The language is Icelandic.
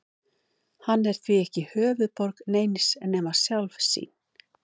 Hann er því ekki höfuðborg neins nema sjálfs sín.